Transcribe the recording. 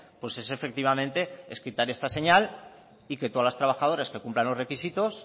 pues es efectivamente es quitar esta señal y que todas las trabajadoras que cumplan los requisitos